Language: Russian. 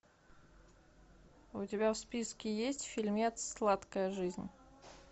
у тебя в списке есть фильмец сладкая жизнь